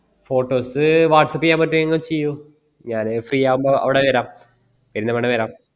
photos whatsapp ചെയ്യാൻ പറ്റുവെങ്കി ചെയൂ ഞാന് free ആകുമ്പോ അവിടെ വരാം ഇന്ന് തന്നെ വരാം